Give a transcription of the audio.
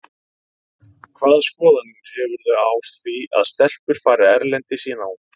Hvaða skoðanir hefurðu á því að stelpur fari erlendis í nám?